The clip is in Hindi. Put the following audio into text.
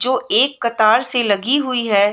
जो एक कातार से लगी हुई है।